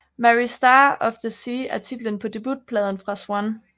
Mary Star of the Sea er titlen på debutpladen fra Zwan